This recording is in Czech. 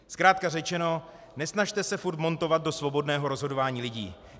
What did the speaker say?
Zkrátka řečeno, nesnažte se furt montovat do svobodného rozhodování lidí.